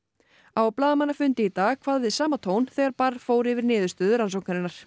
á blaðamannafundi í dag kvað við sama tón þegar barr fór yfir niðurstöður rannsóknarinnar